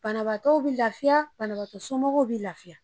Banabaatɔ bɛ lafiya, banabagatɔ somɔgɔw bɛ lafiya.